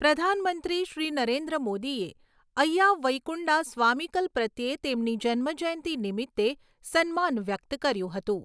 પ્રધાનમંત્રી શ્રી નરેન્દ્ર મોદીએ અય્યા વૈઈકુંડા સ્વામીકલ પ્રત્યે તેમની જન્મ જયંતી નિમિતે સન્માન વ્યક્ત કર્યું હતું.